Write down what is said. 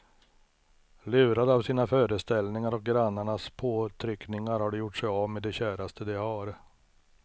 Lurade av sina föreställningar och grannarnas påtryckningar har de gjort sig av med det käraste de har.